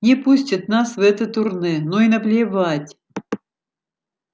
не пустят нас в это турне ну и наплевать